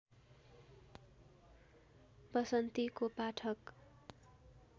वसन्तीको पाठक